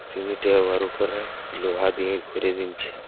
সিমিটে আবার উপরে লোহা দিয়ে ঘুরে দিনচ্ছে ।